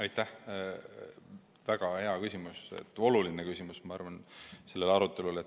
Aitäh, väga hea ja oluline küsimus!